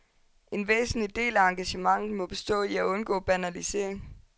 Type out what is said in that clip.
En væsentlig del af engagementet må bestå i at undgå banalisering.